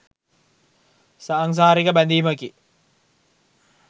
සාංසාරික බැඳීමකි.